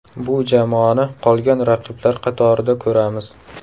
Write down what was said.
Bu jamoani qolgan raqiblar qatorida ko‘ramiz.